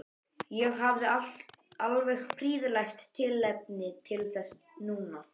Ég hafði alveg prýðilegt tilefni til þess núna.